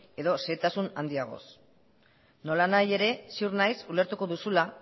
edo xehetasun handiagoz nolanahi ere ziur naiz ulertuko duzula